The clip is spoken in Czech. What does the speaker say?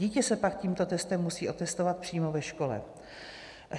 Dítě se pak tímto testem musí otestovat přímo ve škole.